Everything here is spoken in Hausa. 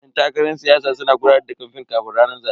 Yan takarar siyasa suna gudanar da kamfen kafin ranar zabe.